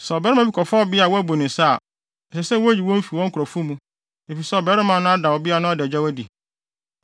“ ‘Sɛ ɔbarima bi kɔfa ɔbea a wabu ne nsa a, ɛsɛ sɛ woyi wɔn fi wɔn nkurɔfo mu, efisɛ ɔbarima no ada ɔbea no adagyaw adi.